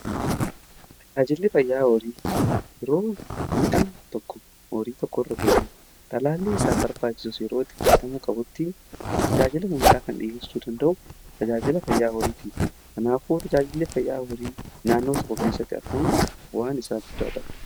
Tajaajili fayyaa horii yeroo miidhaan tokko horii tokko irra ga'u, talaallii isaa barbaajiisus yeroo itti fudhatamuu qabutti tajaajila hundaa kan dhiyeessuu danda'u tajaajila fayyaa horiiti. Kanaafuu tajaajilli fayyaa horii naannoo tokko keessatti argamu waan isa guddaadha.